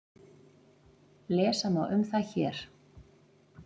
Lesa má um það hér.